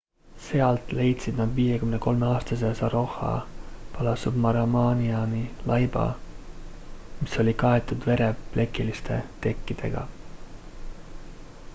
sealt leidsid nad 53-aastase saroja balasubramaniani laiba mis oli kaetud vereplekiliste tekkidega